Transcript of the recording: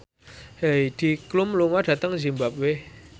Heidi Klum lunga dhateng zimbabwe